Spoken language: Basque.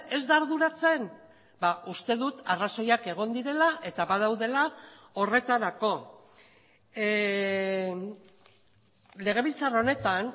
ez da arduratzen uste dut arrazoiak egon direla eta badaudela horretarako legebiltzar honetan